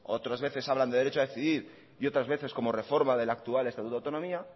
otras veces hablan de derecho a decidir y otras veces como reforma del actual estatuto de autonomía